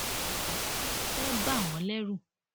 ṣùgbọn kí ló fẹẹ bà wọn lẹrù